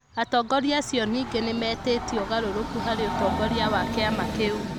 Atongoria acio ningĩ nĩ mĩtĩtie ũgarũrũku harĩ ũtongoria wa kĩama kĩu .